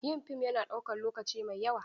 Yin fim yana ɗaukan lokaci mai yawa.